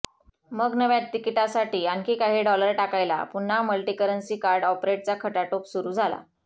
मग नव्या तिकिटासाठी आणखी काही डॉलर टाकायला पुन्हा मल्टीकरन्सी कार्ड ऑपरेटचा खटाटोप सुरु झाला